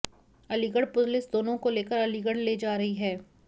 Aligarh police दोनों को लेकर अलीगढ़ ले जा रही है